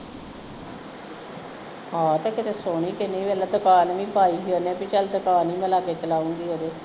ਆਹੋ ਤੇ ਕੀਤੇ ਸੋਹਣੀ ਕਿੰਨੀ ਵੇਖਲੇ ਦੁਕਾਨ ਵੀ ਪਾਈ ਓਹਨੇ ਕਿ ਚਲ ਦੁਕਾਨ ਵੀ ਮੈਂ ਲਾਗੇ ਚਲਾਉਂਗੀ